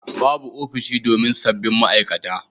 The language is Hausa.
Babu ofishi domin sabbin ma'aikata